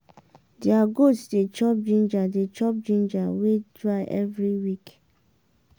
their goat dey chop ginger dey chop ginger wey dry every week.